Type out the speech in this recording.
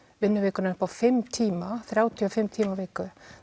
vinnuvikunnar upp á fimm tíma þrjátíu og fimm tíma á viku